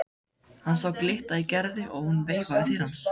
Hann sá glitta í Gerði og hún veifaði til hans.